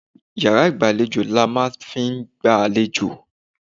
Iyàrá ìgbàlejò làá máa n fi n gba àlejò